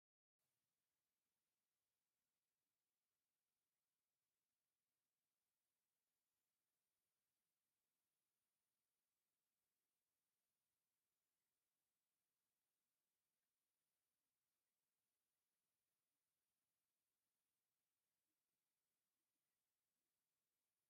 ማሽናት ክልተ ቻይናውያን ምስ ሓደ ኢትዮጵያዊ አብ ማእከል ዕንቋይን ሰማያዊን ሕብሪ ዘለዎን ናይ እመኒ ፀረብቲ ማሽናት ጠጠው ኢሎም ይርከቡ፡፡ እዘን ማሽና ዘምረትኦ ቀይሕ እምኒ አሎ፡፡ እዘቲ ዝተፀረበ እምኒ ንሓደ ክንደይ ይሽየጥ?